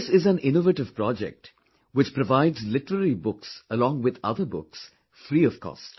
This in an innovative project which provides literary books along with other books, free of cost